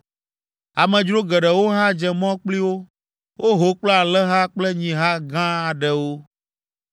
Amedzro geɖewo hã dze mɔ kpli wo. Woho kple alẽha kple nyiha gã aɖewo.